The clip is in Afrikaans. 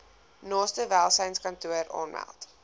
naaste welsynskantoor aanmeld